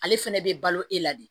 Ale fɛnɛ bɛ balo e la de